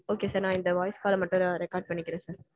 okay sir. நா இந்த voice call அ மட்டும் record பண்ணிக்கறேன் sir.